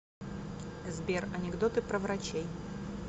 сбер анекдоты про врачей